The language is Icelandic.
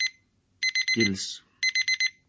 Gils